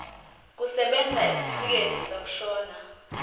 kusebenza isitifikedi sokushona